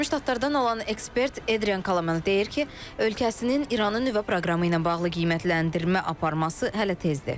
Birləşmiş Ştatlardan olan ekspert Adrian Kala deyir ki, ölkəsinin İranın nüvə proqramı ilə bağlı qiymətləndirmə aparması hələ tezdir.